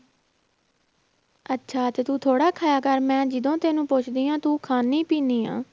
ਅੱਛਾ ਤੇ ਤੂੰ ਥੋੜ੍ਹਾ ਖਾਇਆ ਕਰ ਮੈਂ ਜਦੋਂ ਤੈਨੂੰ ਪੁੱਛਦੀ ਹਾਂ, ਤੂੰ ਖਾਂਦੀ ਪੀਂਦੀ ਆਂ।